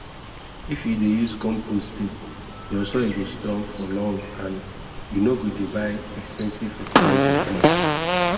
if you dey use compost steady your soil go strong for long and you no go dey buy expensive fertilizer again